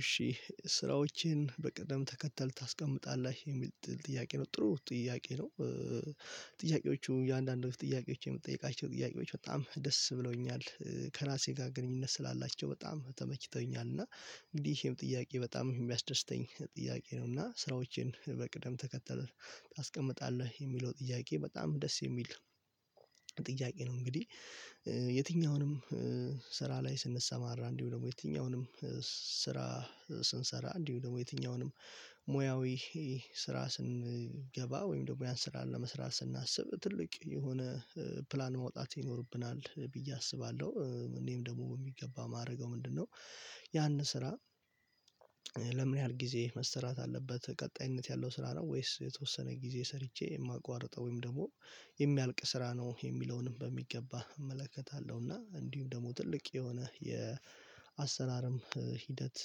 እሺ ስራዎቼን በቅድም ተከተል ታስቀምጣለህ የሚል ጥያቄ ነው ጥሩ ጥያቄ ነው። ጥያቄዎቹ የአንዳንድ ጥያቄዎች የምትጠይቃቸው ጥያቄዎች በጣም ደስ ብለውኛል ከራሴ ጋር ግንኙነት ስላላቸው በጣም ተመችተውኛል። እና እንዲህም ጥያቄ በጣም የሚያስደስተኝ ጥያቄ ነው። እና ስራዎችን በቅደም ተከተለ ታስቀምጣለህ የሚለው ጥያቄ በጣም ደስ የሚል ጥያቄ ነው። እንግዲህ የትኛውንም ስራ ላይ ስንሰማራ እንዲሁ ደግሞ የትኛውንም ስራ ስንሰራ እንዲሁ ደግሞ የትኛውንም ሙያዊ ስራ ስንገባ ወይም ደግሞ ያን ስራ ለመስራት ስናስብ ትልቅ የሆነ ፕላን መውጣት ይኖርብናል ብዬ አስባለሁ እኔም ደግሞ የሚገባ ማድረገው ምንድነው? ያን ስራ ለምን ያህል ጊዜ መስራት አለበት ቀጣይነት ያለው ስራ ነው ወይስ የተወሰነ ጊዜ ሰርቼ የማቋርጠው ወይም ደግሞ የሚያልቅ ስራ ነው የሚለውንም በሚገባ እመለከታለሁ። እና እንዲሁም ደግሞ ትልቅ የሆነ የአሰራርም ሂደት።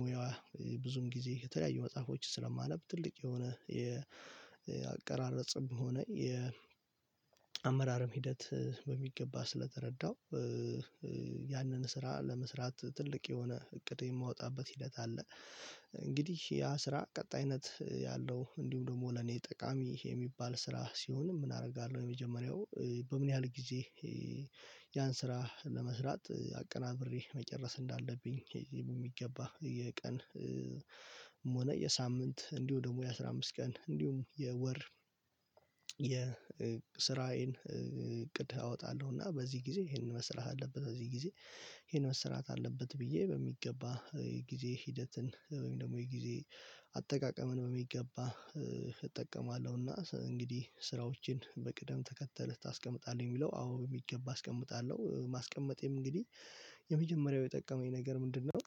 ሙያዋ ብዙም ጊዜ የተለያዩ መጽሐፎችን ስለማነብ ትልቅ የሆነ የአቀራረጽም ሆነ የአመራርም ሂደት በሚገባ ስለተረዳው ያንን ስራ ለመስራት ትልቅ የሆነ እቅድ የማወጣበት ሂደት አለ። እንግዲህ ያ ስራ ቀጣይነት ያለው እንዲሁ ደግሞ ለኔ ጠቃሚ የሚባል ስራ ሲሆን ምን አደርጋለሁ? የመጀመሪያው በምን ያህል ጊዜ ያን ስራ ለመስራት አቀናብሬ መጨረስ እንዳለብኝ የሚገባ የቀን ሆነ የሳምንት እንዲሁ ደግሞ የአስራቸአምስት ቀን እንዲሁም የወር የስራዬን እቅድ አወጣለሁ። እና በዚህ ጊዜ ይሄንን መስራት አለበት በዚህ ጊዜ ይሄን መስራት አለበት ብዬ በሚገባ ጊዜ ሂደትን ወይም ደግሞ የጊዜ አጠቃቀምን በሚገባ እጠቀማለሁና። እንግዲህ ስራዎችን በቅደም ተከተል ታስቀምጣለህ የሚለው አዎ የሚገባ አስቀምጣለሁ ማስቀመጤም እንግዲህ የመጀመሪያው የጠቀመኝ ነገር ምንድነው?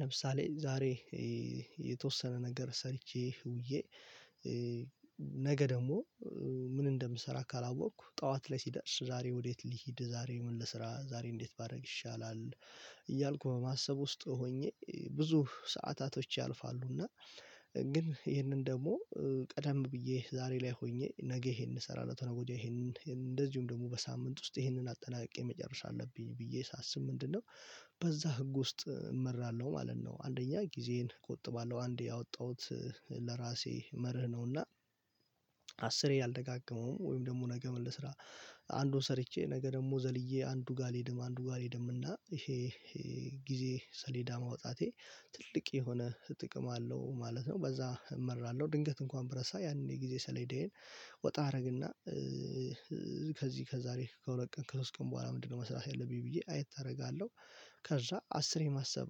ለምሳሌ ዛሬ የተወሰነ ነገር ሰርቼ ውዬ ነገ ደግሞ ምን እንደምሰራ ካላወቅኩ ጠዋት ላይ ሲደርስ ዛሬ ወዴት ልሂድ ዛሬ ምን ለስራ ዛሬ እንዴት ባደርግ ይሻላል እያልኩ በማሰብ ውስጥ ሆኜ ብዙ ሰዓታቶች ያልፋሉና። ግን ይሄንን ደግሞ ቀደም ብዬ ዛሬ ላይ ሆኜ ነገ ይሄን እንሰራለን ተነገ ወዲያ ይሄንን እንደዚሁም ደግሞ በሳምንት ውስጥ ይሄንን አጠናቀቅ የመጨረሻ አለብኝ ብዬ ሳስብ ምንድነው? በዛ ህግ ውስጥ እመራለሁ ማለት ነው። አንደኛ ጊዜዬን ቁጥ ባለው አንዴ ያወጣሁት ለራሴ መርህ ነውና። አስር ያልደጋገመውም ወይም ደግሞ ነገ ምን ልስራ አንዱን ሰርቼ ነገ ደግሞ ዘልዬ አንዱ ጋር አልሄድም። አንዱ ጋር ልሄድም እና ይሄ ይሄ ጊዜ ሰሌዳ ማውጣቴ ትልቅ የሆነ ጥቅም አለው ማለት ነው። በዛ እመራለሁ ድንገት እንኳን ብረሳ ያንን የጊዜ ሰሌዴዬን ወጣ አደረግና ከዚህ ከዛሬ ከሁለት ቀን ከሶስት ቀን በኋላ ምንድነው መስራት ያለብኝ ብዬ አየት አደርጋለሁ። ከዛ አስርየ የማሰብ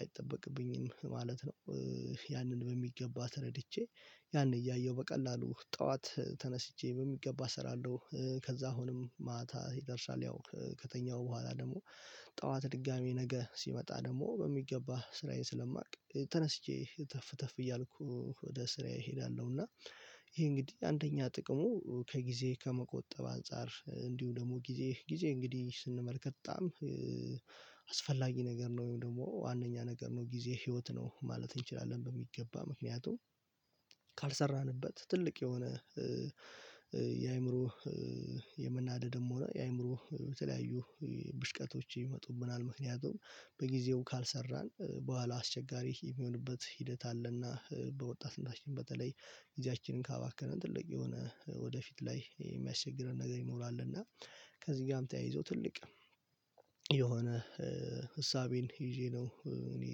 አይጠበቅብኝም ማለት ነው። ያንን በሚገባ ተረድቼ ያን እያየሁ በቀላሉ ጠዋት ተነስቼ በሚገባ እሰራለሁ። ከዛ አሁንም ማታ ይደርሳል ያው ከተኛሁ በኋላ ደግሞ ጠዋት ድጋሚ ነገ ሲመጣ ደግሞ በሚገባ ስራዬን ስለማውቅ ተነስቼ ተፍ ተፍ እያልኩ ወደ ስራ እሄዳለሁ። እና ይሄ እንግዲህ አንደኛ ጥቅሙ ከጊዜ ከመቆጠብ አንፃር እንዲሁ ደግሞ ጊዜ ጊዜ እንግዲህ ስንመለከት በጣም አስፈላጊ ነገር ነው። ወይም ደግሞ ዋናኛ ነገር ነው ጊዜ ህይወት ነው ማለት እንችላለን። በሚገባ ምክንያቱም ካልሰራንበት ትልቅ የሆነ የአእምሮ የምናደድም ሆነ የአእምሮ በተለያዩ ብሽቀቶች ይመጡብናል። ምክንያቱም በጊዜው ካልሰራን በኋላ አስቸጋሪ የሚሆንበት ሂደት አለና። በወጣት በተለይ ጊዜያችንን ካባከነ ትልቅ የሆነ ወደፊት ላይ የሚያስቸግረን ነገር ይኖራል። እና ከዚህ ጋርም ተያይዞ ትልቅ የሆነ እሳቤን ይዤ ነው እኔ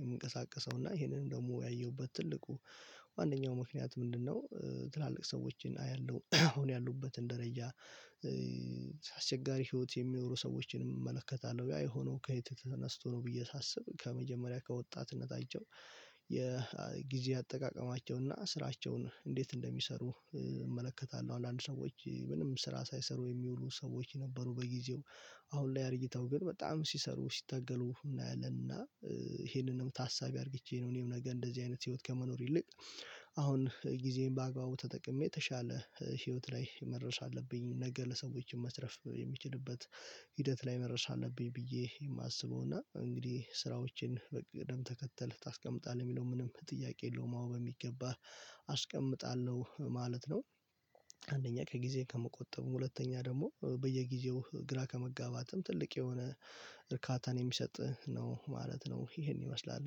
የምንቀሳቀሰው እና ይሄንን ደግሞ ያየሁበት ትልቁ ዋናኛው ምክንያት ምንድነው? ትላልቅ ሰዎችን አያለሁ አሁን ያሉበትን ደረጃ አስቸጋሪ ህይወት የሚኖሩ ሰዎችን እመለከታለሁ ያ የሆነው ከየት ተነስቶ ነው። ብዬ ሳስብ ከመጀመሪያ ከወጣትነታቸው የጊዜ አጠቃቀማቸው ስራቸውን እንዴት እንደሚሰሩ እመለከታለሁ። አንዳንድ ሰዎች ምንም ስራ ሳይሰሩ የሚውሉ ሰዎች ነበሩ በጊዜው አሁን ላይ አድርጊታው ግን በጣም ሲሰሩ ሲታገሉህ እናያለን። እና ይሄንንም ታሳቢ አድርጌቼ ነው። እኔም ነገ እንደዚህ አይነት ህይወት ከመኖር ይልቅ አሁን ጊዜዬን በአግባቡ ተጠቅሜ የተሻለ ህይወት ላይ መድረስ አለብኝ። ነገ ለሰዎችም መትረፍ የሚችልበት ሂደት ላይ መድረስ አለብኝ። ብዬ የማስበው እና እንግዲህ ስራዎቼን በቅደም ተከተል ታስቀምጣለህ የሚለው ምንም ጥያቄ የለውም አዎ በሚገባህ አስቀምጣለሁ ማለት ነው። አንደኛ ከጊዜ ከመቆጠብ ሁለተኛ ደግሞ በየጊዜው ግራ ከመጋባትም ትልቅ የሆነ እርካታን የሚሰጥ ነው ማለት ነው። ይሄን ይመስላል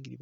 እንግዲህ